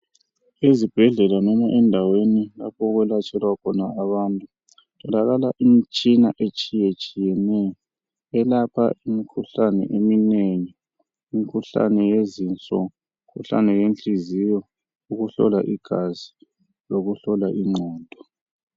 Ezibhedlela noma endaweni lapho okwelatshelwa khona abantu ukutholakala imitshina etshiyatshiyeneyo elapha imikhuhlane eminengi. Imikhuhlane yezinso, imikhuhlane yenhliziyo, ukuhlolwa igazi lokuhlolwa ingqondo.